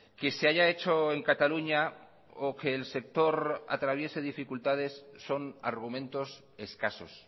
que se haya hecho en cataluña o que el sector atraviese dificultades son argumentos escasos